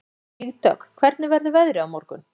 Vígdögg, hvernig verður veðrið á morgun?